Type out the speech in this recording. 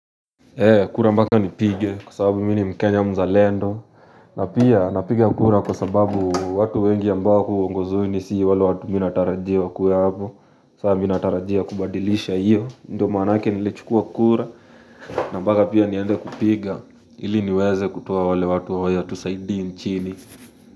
Kura mbaka nipige kwa sababu mi ni mkenya mzalendo na pia napiga kura kwa sababu watu wengi ambao wako uongozini si wale watu mi natarajia wakuwe hapo Sa minatarajia kubadilisha iyo Ndio maanake nilichukua kura na mbaka pia niende kupiga ili niweze kutuoa wale watu hawatusaidii nchini.